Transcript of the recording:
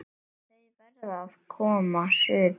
Þau verða að koma suður!